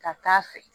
Ka taa fɛ